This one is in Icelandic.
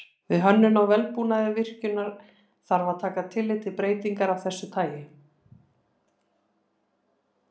Við hönnun á vélbúnaði virkjunar þarf að taka tillit til breytinga af þessu tagi.